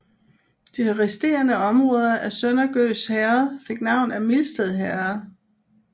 De resterende områder af Sønder Gøs Herred fik navn af Mildsted Herred